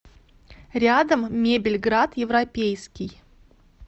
рядом мебельград европейский